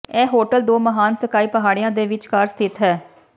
ਇਹ ਹੋਟਲ ਦੋ ਮਹਾਨ ਸਕਾਈ ਪਹਾੜੀਆਂ ਦੇ ਵਿਚਕਾਰ ਸਥਿਤ ਹੈ